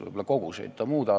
Võib-olla koguseid muudab.